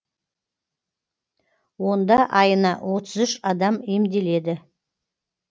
онда айына отыз үш адам емделеді